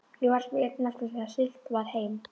Ég varð því einn eftir þegar siglt var heim.